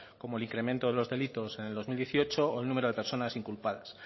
como el incremento de los delitos en el dos mil dieciocho o el número de personas inculpadas